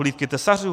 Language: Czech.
Hlídky tesařů?